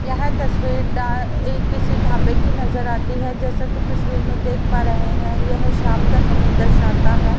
यह तस्वीर डा किसी ढाबे की नजर आती है जैसा कि तस्वीर में देख पा रहे हैं यह शाम का समय दर्शाता हैं।